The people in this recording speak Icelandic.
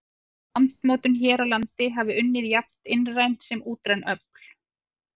Að landmótun hér á landi hafa unnið jafnt innræn sem útræn öfl.